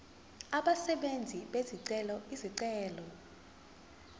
abenzi bezicelo izicelo